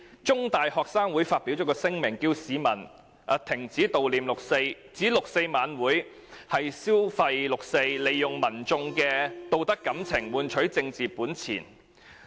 中大學生會在上星期發表聲明，呼籲市民停止悼念六四，並指六四晚會"消費六四"，利用民眾的道德感情，換取政治本錢。